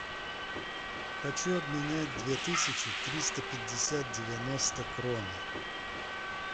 хочу обменять две тысячи триста пятьдесят девяносто кроны